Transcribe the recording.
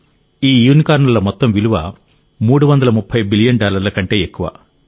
ఈ యూనికార్న్ల మొత్తం విలువ 330 బిలియన్ డాలర్ల కంటే ఎక్కువ